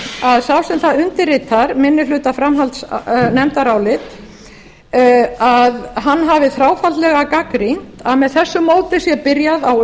að sá sem það undirritar minnihlutaframhaldsnefndarálitið hafi þráfaldlega gagnrýnt að með þessu móti sé byrjað á